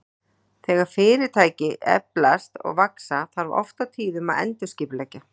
Þegar fyrirtæki eflast og vaxa, þarf oft og tíðum að endurskipuleggja.